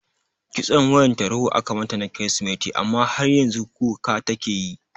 Kitson wayar tarho aka mata na kiristimeti amma har yanzu kuka take tayi